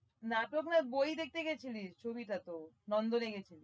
নাতো ভাই বই দেখতে গিছিলিস ছবিটা তো নন্দরে গেছিস